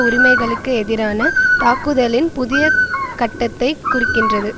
உரிமைகளுக்கு எதிரான தாக்குதலின் புதிய கட்டத்தை குறிக்கின்றது